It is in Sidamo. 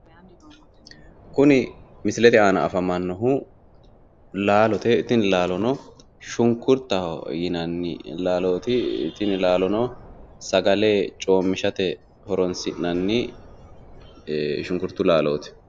Kuni misilete aana afamanohu laalote tini laalono Shunkurtaho yinanni laalooti tini laloono sagale Coomishate horonsi'nanni shunkurtu laalooti